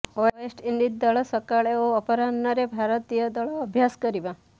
West Indies ଦଳ ସକାଳେ ଓ ଅପରାହ୍ନରେ ଭାରତୀୟ ଦଳ ଅଭ୍ୟାସ କରିବ